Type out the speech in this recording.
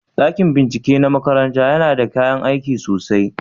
Dakin binciken ɗin makarantar yana da kayan aiki sosai?